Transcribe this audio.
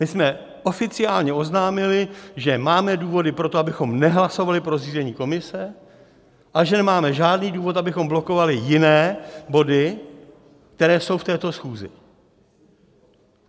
My jsme oficiálně oznámili, že máme důvody pro to, abychom nehlasovali pro zřízení komise, a že nemáme žádný důvod, abychom blokovali jiné body, které jsou v této schůzi.